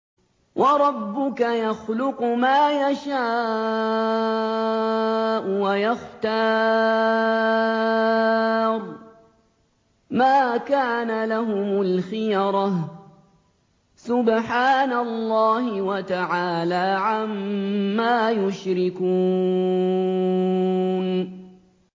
وَرَبُّكَ يَخْلُقُ مَا يَشَاءُ وَيَخْتَارُ ۗ مَا كَانَ لَهُمُ الْخِيَرَةُ ۚ سُبْحَانَ اللَّهِ وَتَعَالَىٰ عَمَّا يُشْرِكُونَ